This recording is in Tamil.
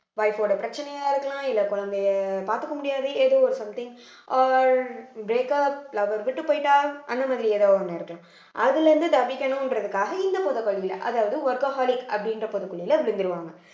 wife ஓட பிரச்சனையா இருக்கலாம் இல்ல குழந்தையை பாத்துக்க முடியாது ஏதோ ஒரு something or breakup lover விட்டு போயிட்டா அந்த மாதிரி ஏதோ ஒண்ணு இருக்கலாம் அதுல இருந்து தப்பிக்கணுன்றதுக்காக இந்த அதாவது workaholic அப்படின்ற பொதக்குழியில விழுந்துடுவாங்க